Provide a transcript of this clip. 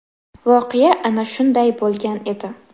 Voqea ana shunday bo‘lgan edi.